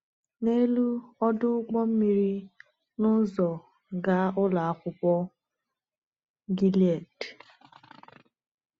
N’elu ọdụ ụgbọ mmiri n’ụzọ gaa Ụlọ Akwụkwọ Gilead.